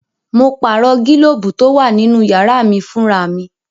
Mo pààrọ̀ gílóbù tó wà nínú yàrá mí fún ra mi